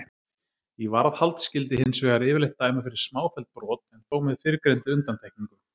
Í varðhald skyldi hins vegar yfirleitt dæma fyrir smáfelld brot en þó með fyrrgreindri undantekningu.